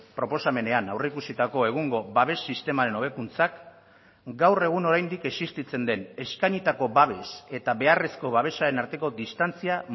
proposamenean aurreikusitako egungo babes sistemaren hobekuntzak gaur egun oraindik existitzen den eskainitako babes eta beharrezko babesaren arteko distantzia